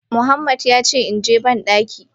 Muhammad yace inje bandaki.